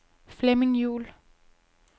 Flemming Juul